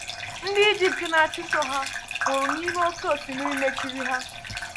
Ndị Egypt na-achụso ha nwụrụ n’ime oké osimiri mechiri ha.